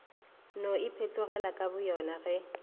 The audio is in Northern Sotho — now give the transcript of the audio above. no iphetogela ka boyona ge